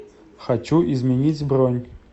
хочу изменить бронь